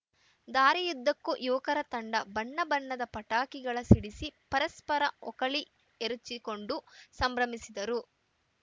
ದಾರಿಯುದ್ದಕ್ಕೂ ಯುವಕರ ತಂಡ ಬಣ್ಣ ಬಣ್ಣದ ಪಟಾಕಿಗಳ ಸಿಡಿಸಿ ಪರಸ್ಪರ ಓಕಳಿ ಎರಚಿಕೊಂಡು ಸಂಭ್ರಮಿಸಿದರು